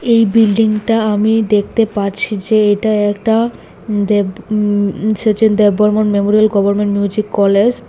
এই বিল্ডিংটা আমি দেখতে পারছি যে এটা একটা um Dev um Sachin Dev Burman memorial government music college.